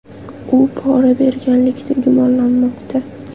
U pora berganlikda gumonlanmoqda.